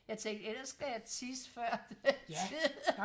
jeg tænkte ellers skal jeg tisse før tid